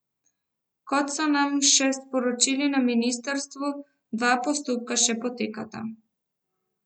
Kot so nam še sporočili na ministrstvu, dva postopka še potekata.